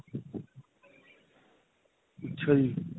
ਅੱਛਾ ਜੀ.